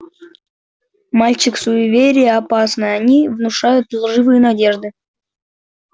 мальчик суеверия опасны они внушают лживые надежды